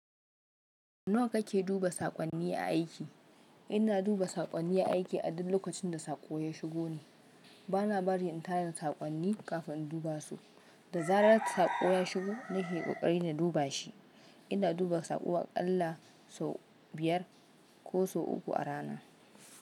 Sau nawa kake duba saƙonni a aiki? Ina duba saƙonni aiki a duk lokacin da saƙo ya shigo ne. Bana bari in tare da saƙonni kafin in duba su. Da zarar saƙo ya shigo nake kokari na duba shi. Ina duba saƙowa ƙalla sau biyar ko sau uku a rana.